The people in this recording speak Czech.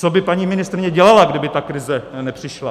Co by paní ministryně dělala, kdyby ta krize nepřišla?